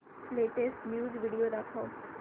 latest news video दाखव